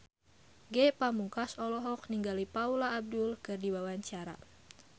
Ge Pamungkas olohok ningali Paula Abdul keur diwawancara